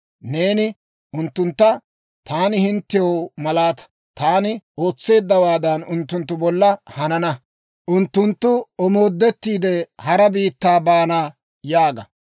Neeni unttuntta, ‹Taani hinttew malaataa. Taani ootseeddawaadan, unttunttu bolla hanana; unttunttu omoodettiide, hara biittaa baana› yaaga.